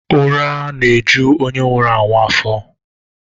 Ụra na-ejuzi onye nwụrụ anwụ afọ